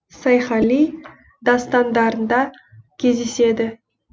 сайхали дастандарында кездеседі